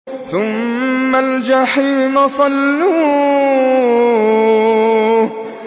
ثُمَّ الْجَحِيمَ صَلُّوهُ